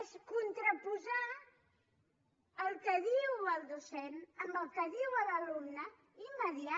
és contraposar el que diu el docent amb el que diu l’alumne i mitjançar